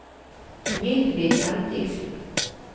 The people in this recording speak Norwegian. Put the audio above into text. Mildrid Bendiksen